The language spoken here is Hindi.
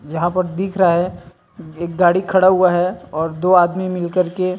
वहां पर दिख रहा है एक गाड़ी खड़ा हुआ है और दो आदमी निलक के --